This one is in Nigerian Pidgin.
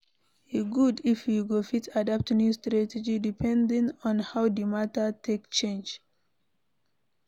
E good if we go fit adapt new strategy depending on how di matter take change